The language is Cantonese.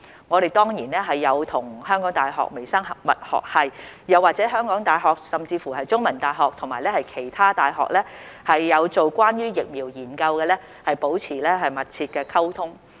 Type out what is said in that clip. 我們當然有與香港大學微生物學系，又或香港大學甚至是香港中文大學，以及其他有進行關於疫苗研究的大學保持密切的溝通。